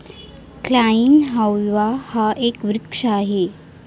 Kleinhovia हा एक वृक्ष आहे.